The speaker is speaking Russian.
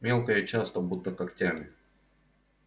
мелко и часто будто когтями